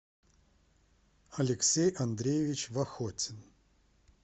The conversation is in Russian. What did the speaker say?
алексей андреевич вахотин